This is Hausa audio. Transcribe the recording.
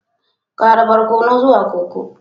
Ƙara barkono zuwa koko